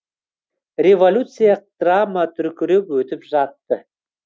революция драма дүркіреп өтіп жатты